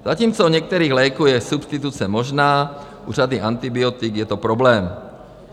Zatímco u některých léků je substituce možná, u řady antibiotik je to problém.